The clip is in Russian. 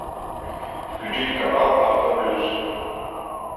включить канал авто плюс